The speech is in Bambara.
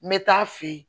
N bɛ taa a fɛ yen